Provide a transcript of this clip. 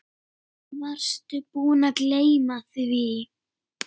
Varstu búinn að gleyma því?